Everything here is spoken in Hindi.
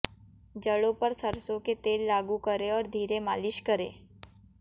जड़ों पर सरसों के तेल लागू करें और धीरे मालिश करें